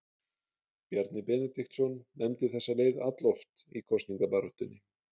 Bjarni Benediktsson nefndi þessa leið alloft í kosningabaráttunni.